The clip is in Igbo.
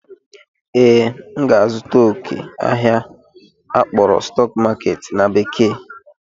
Ee, m ga-azụta oke n'ahịa akpọrọ "stock market" na bekee